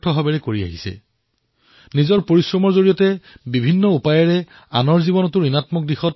গীতাৰ বাণী যোগঃ কৰ্মসু কৌশলমৰ দৰে এওঁলোকে জীৱন অতিবাহিত কৰে